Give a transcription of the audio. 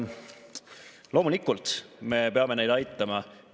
Loomulikult me peame neid aitama.